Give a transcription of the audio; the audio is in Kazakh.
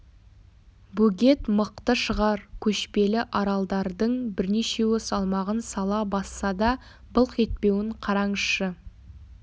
бөгет мықты шығар көшпелі аралдардың бірнешеуі салмағын сала басса да былқ етпеуін қараңызшы